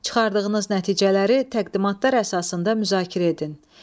Çıxardığınız nəticələri təqdimatlar əsasında müzakirə edin.